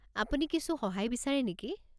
আপুনি কিছু সহায় বিচাৰে নেকি?